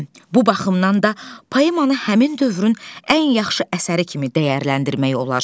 Bu baxımdan da, poemanı həmin dövrün ən yaxşı əsəri kimi dəyərləndirmək olar.